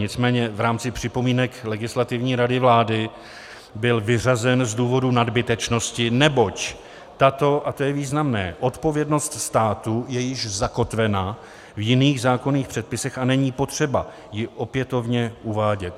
Nicméně v rámci připomínek Legislativní rady vlády byl vyřazen z důvodu nadbytečnosti, neboť tato, a to je významné, odpovědnost státu je již zakotvena v jiných zákonných předpisech a není potřeba ji opětovně uvádět.